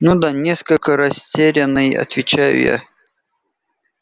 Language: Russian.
ну да несколько растерянный отвечаю я